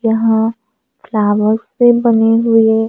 यहां फ्लावर से बने हुए--